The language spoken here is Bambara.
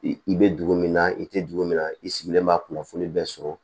I i bɛ dugu min na i tɛ dugu min na i sigilen b'a kunnafoni bɛɛ sɔrɔ